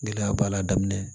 Gɛlɛya b'a la a daminɛ